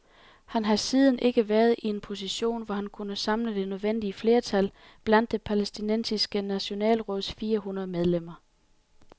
Han har siden ikke været i en position, hvor han kunne samle det nødvendige flertal blandt det palæstinensiske nationalråds fire hundrede medlemmer.